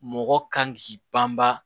Mɔgɔ kan k'i banban